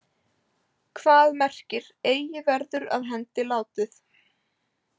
Hvað merkir Eigi verður af hendi látið?